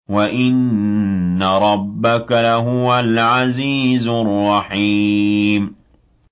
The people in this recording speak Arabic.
وَإِنَّ رَبَّكَ لَهُوَ الْعَزِيزُ الرَّحِيمُ